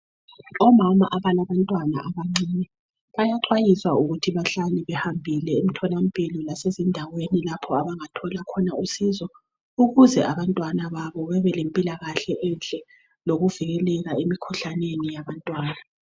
Omama abalabantwana abancane bayaxwayiswa ukuthi bahlale behambile emtholampilo lase ndaweni lapho abangathola khona usizo ukuze abantwana babo bebe lempilakahle enhle lokuvikeleka emikhuhlaneni yabantwana.